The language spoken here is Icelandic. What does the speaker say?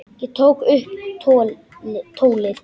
Ég tók upp tólið.